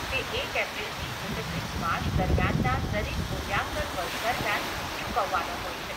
તે એક એપ્રિલથી એકત્રીસ માર્ચ દરમિયાનના દરેક મૂલ્યાંકન વર્ષ દરમિયાન ચૂકવવાનો હોય છે.